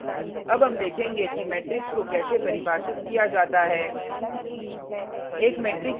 अब हम देखेंगे कि मेट्रिक्स को कैसे परिभाषित किया जाता है